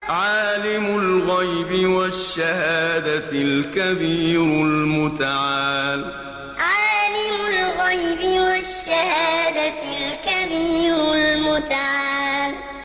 عَالِمُ الْغَيْبِ وَالشَّهَادَةِ الْكَبِيرُ الْمُتَعَالِ عَالِمُ الْغَيْبِ وَالشَّهَادَةِ الْكَبِيرُ الْمُتَعَالِ